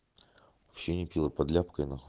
ученики под ляпкой нахуй